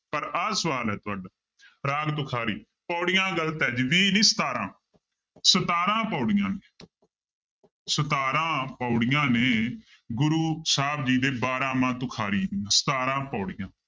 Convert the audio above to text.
ਪਰ ਆਹ ਸਵਾਲ ਹੈ ਤੁਹਾਡਾ ਰਾਗ ਤੁਖਾਰੀ ਪਾਉੜੀਆਂ ਗ਼ਲਤ ਹੈ ਜੀ ਵੀਹ ਨਹੀਂ ਸਤਾਰਾਂ ਸਤਾਰਾਂ ਪਾਉੜੀਆਂ ਸਤਾਰਾਂ ਪਾਉੜੀਆਂ ਨੇ ਗੁਰੂੂ ਸਾਹਿਬ ਜੀ ਦੇ ਬਾਰਾਂਮਾਂਹ ਤੁਖਰੀ ਦੀਆਂ ਸਤਾਰਾਂ ਪਾਉੜੀਆਂ